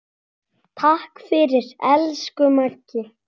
Takk fyrir, elsku Maggi.